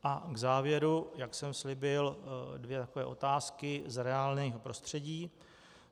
A k závěru, jak jsem slíbil, dvě takové otázky z reálného prostředí.